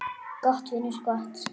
Gott, vinur, gott.